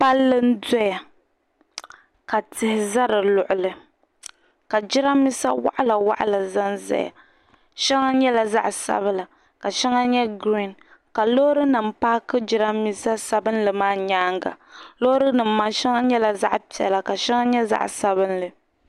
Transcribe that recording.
Palli n-dɔya ka tihi za di luɣili ka jidambiisa waɣilawaɣila zanzaya shɛŋa nyɛla zaɣ' sabila ka shɛŋa nyɛ girin ka Loorinima paaki jidambiisa sabilinli maa nyaaŋga Loorinima maa shɛŋa nyɛla zaɣ' piɛla ka shɛŋa nyɛ zaɣ' sabila.